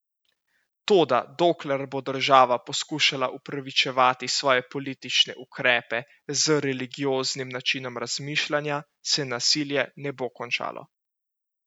Toda dokler bo država poskušala upravičevati svoje politične ukrepe z religioznim načinom razmišljanja, se nasilje ne bo končalo.